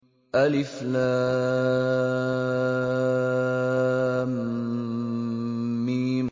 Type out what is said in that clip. الم